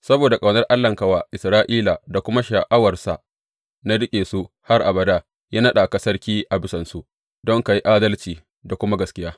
Saboda ƙaunar Allahnka wa Isra’ila da kuma sha’awarsa na riƙe su har abada, ya naɗa ka sarki a bisansu, don ka yi adalci da kuma gaskiya.